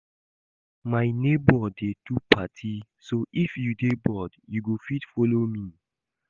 My neighbor dey do party so if you dey bored you go fit follow me